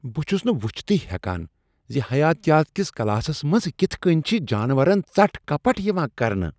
بہٕ چھس نہٕ وُچھتھٕے ہیکان ز حیاتیات کس کلاسس منٛز کتھ کٔنۍ چھ جانورن ژٹھ کپٹھ یوان کرنہٕ۔